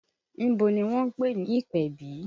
Ibo ni wọ́n ń pè ní ìpèbí?